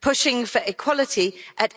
Pushing for equality at